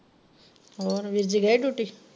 ਹੋਰ ਵੀਰ ਜੀ ਗਏ duty.